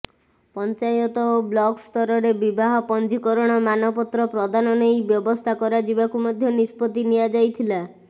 ପଞ୍ଚାୟତ ଓ ବ୍ଲକସ୍ତରରେ ବିବାହ ପଞ୍ଜୀକରଣ ମାନପତ୍ର ପ୍ରଦାନ ନେଇ ବ୍ୟବସ୍ଥା କରାଯିବାକୁ ମଧ୍ୟ ନିଷ୍ପତ୍ତି ନିଆଯାଇଥିଲା